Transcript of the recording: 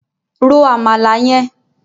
Ro Àmàlà yẹn!